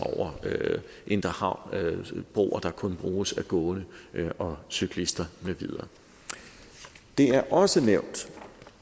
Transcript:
over indre havn broer der kun bruges af gående og cyklister med videre det er også nævnt